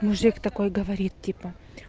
мужик такой говорит типа